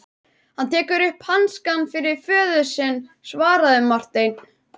Hann tekur upp hanskann fyrir föður sinn, svaraði Marteinn.